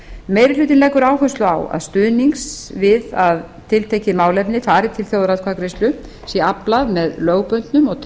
meiri hlutinn leggur áherslu á að stuðnings við að tiltekið málefni fari til þjóðaratkvæðagreiðslu sé aflað með lögbundnum og